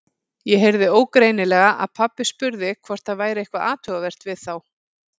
Ég heyrði ógreinilega að pabbi spurði hvort það væri eitthvað athugavert við þá.